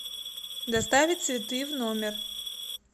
доставить цветы в номер